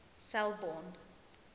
selborne